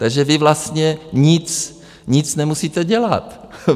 Takže vy vlastně nic nemusíte dělat.